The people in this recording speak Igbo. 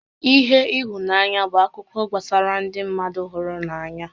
ihe ihunanya bụ akụkọ gbasara ndị mmadụ hụrụ n'anya